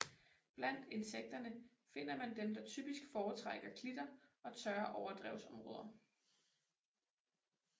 Blandt insekterne finder man dem der typisk foretrækker klitter og tørre overdrevsområder